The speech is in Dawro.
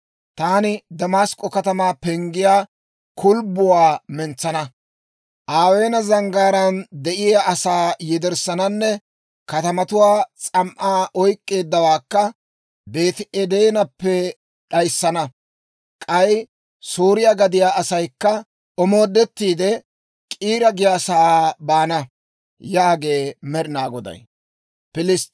Taani Damask'k'o katamaa penggiyaa kulbbuwaa mentsana; Aweena zanggaaraan de'iyaa asaa yederssananne kaatetuwaa s'am"aa oyk'k'eeddawaakka Beeti-Edeenappe d'ayissana; k'ay Sooriyaa gadiyaa asaykka omoodettiide, K'iira giyaasaa baana» yaagee Med'inaa Goday.